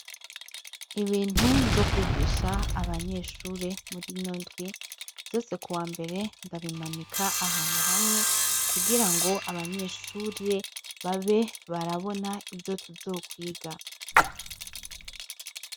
Ibintu nzokwigisha abanyeshure muri notwi vyose ku wa mbere ndabimanika ahantu hamwe kugira ngo abanyeshurire babe barabona ivyo tuzokwiga.